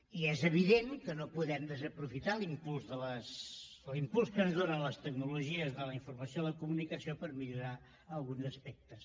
i és evident que no podem desaprofitar l’impuls que ens donen les tecnologies de la informació i la comunicació per millorar ne alguns aspectes